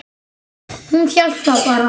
Hún hélt það bara.